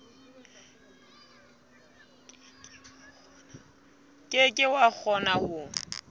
ke ke wa kgona ho